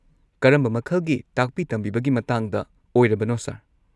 ꯀꯔꯝꯕ ꯃꯈꯜꯒꯤ ꯇꯥꯛꯄꯤ-ꯇꯝꯕꯤꯕꯒꯤ ꯃꯇꯥꯡꯗ ꯑꯣꯢꯔꯕꯅꯣ, ꯁꯔ?